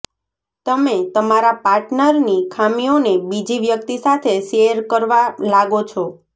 તમે તમારા પાર્ટનરની ખામીઓને બીજી વ્યક્તિ સાથે શેયર કરવા લાગો છો